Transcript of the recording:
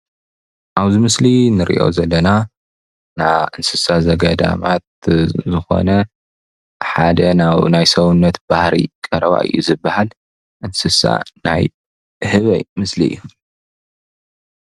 ኣብዚ ምስሊ እንሪኦ ዘለና ናይ እንስሳ ዘገዳማት ዝኾነ ሓደ ናይ ሰውነት ባህሪ ቀረባ እዩ ዝባሃል እንስሳ ናይ ህበይ ምስሊ እዩ፡፡